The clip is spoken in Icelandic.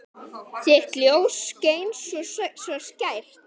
Þitt ljós skein svo skært.